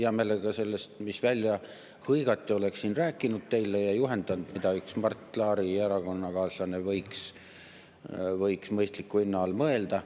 Hea meelega sellest, mis välja hõigati, oleksin ma teile rääkinud ja viidanud, mida üks Mart Laari erakonnakaaslane võiks mõistliku hinna all mõelda.